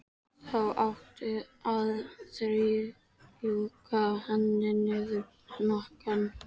Þá áttu að strjúka henni niður hnakkann.